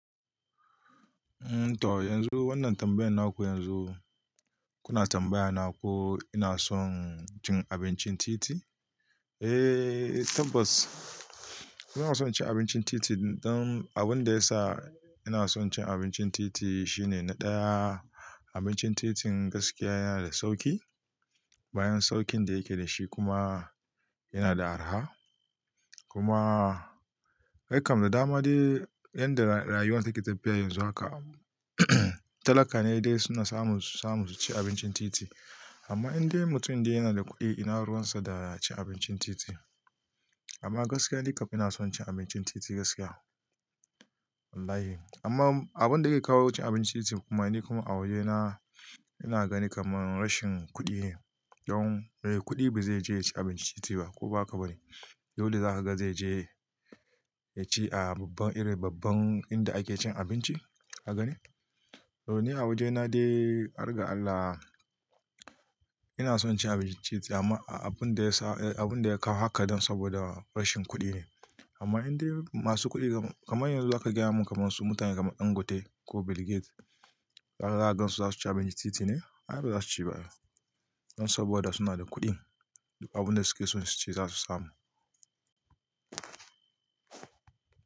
Toh yanzu wannan tambayan naku yanzu kuna tambaya na ko ina son cin abincin titi? Eh tabbas ina son cin abincin titi don abin da yasa ina son cin abincin titi shine na ɗaya abincin titin gaskiya yana da sauƙi. Bayan sauƙin da yake da shi kuma yana da araha. Kuma aikam da dama dai yanda rayuwa take tafiya yanzu haka talaka ne dai suna samu, samu su ci abincin titi. Amma indai mutum da yana da kuɗi ina ruwansa da ya ci abincin titi. Amma gaskiya nikam ina son cin abincin titi gaskiya. Wallahi. Amma abin da yake kawo cin abincin titi kuma ne kuma a wajena ina gani kamar rashin kuɗi ne. Don eh kuɗi ba zai je ya ci abinci titi ba ko ba haka bane? Yau da za ka ga zai je ya ci a babban ire babban inda ake cin abinci aka gani. To ni a wajena dai, ar gar Allah, ina son cin abincin titi amma abin da ya sa abin da ya kawo haka dan saboda rashin kuɗi ne. Amma indai masu kuɗi kamar yanzu za ka gyaya min kamar su mutane kamar Dangote ko Bill Gates, za ka gan su za su ci abinci titi ne? A'a ba za su ci ba ai. Don saboda suna da kuɗin, abin da suke so su ci za su samu.